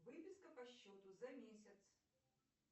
выписка по счету за месяц